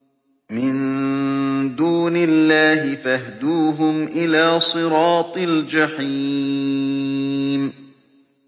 مِن دُونِ اللَّهِ فَاهْدُوهُمْ إِلَىٰ صِرَاطِ الْجَحِيمِ